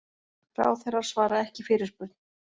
Ráðherrar svara ekki fyrirspurn